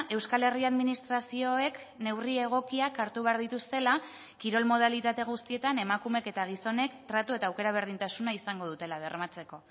euskal herri administrazioek neurri egokiak hartu behar dituztela kirol modalitate guztietan emakumeek eta gizonek tratu eta aukera berdintasuna izango dutela bermatzeko